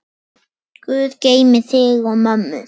Guð geymi þig og mömmu.